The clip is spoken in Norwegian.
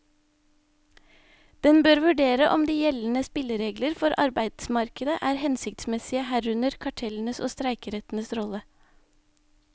Den bør vurdere om de gjeldende spilleregler for arbeidsmarkedet er hensiktsmessige, herunder kartellenes og streikerettens rolle.